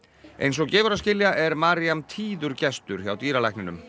eins og gefur að skilja er tíður gestur hjá dýralækninum